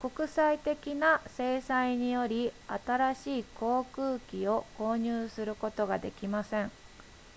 国際的な制裁により新しい航空機を購入することができません